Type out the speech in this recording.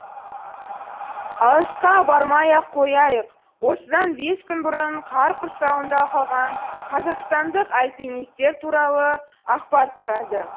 алысқа бармай ақ қояйық осыдан бес күн бұрын қар құрсауында қалған қазақстандық альпинистер туралы ақпар тарады